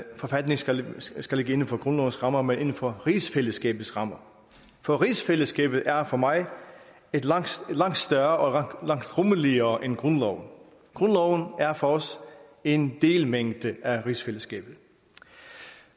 forfatningen skal skal ligge inden for grundlovens rammer men inden for rigsfællesskabets rammer for rigsfællesskabet er for mig langt større og langt rummeligere end grundloven grundloven er for os en delmængde af rigsfællesskabet